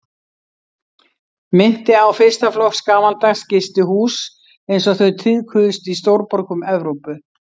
Minnti á fyrsta flokks gamaldags gistihús einsog þau tíðkuðust í stórborgum Evrópu.